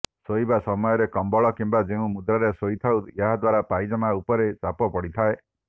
ଶୋଇବା ସମୟରେ କମ୍ବଳ କିମ୍ବା ଯେଉଁ ମୁଦ୍ରାରେ ଶୋଇଥାଉ ଏହାଦ୍ୱାରା ପାଇଜାମା ଉପରେ ଚାପ ପଡ଼ିଥାଏ